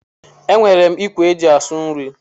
E nwèrè m ikwe e ji asụ nri.